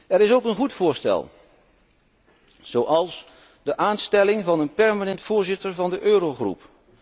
Er is ook een goed voorstel, zoals de aanstelling van een permanent voorzitter van de Eurogroep.